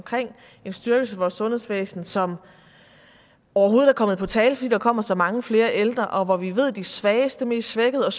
en styrkelse af vores sundhedsvæsen som overhovedet er kommet på tale fordi der kommer så mange flere ældre og vi ved at de svageste mest svækkede og